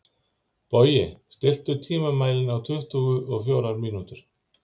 Bogi, stilltu tímamælinn á tuttugu og fjórar mínútur.